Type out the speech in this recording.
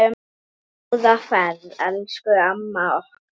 Góða ferð, elsku amma okkar.